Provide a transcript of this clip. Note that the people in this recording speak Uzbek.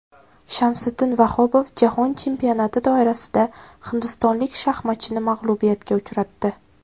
Shamsiddin Vahobov jahon chempionati doirasida hindistonlik shaxmatchini mag‘lubiyatga uchratdi.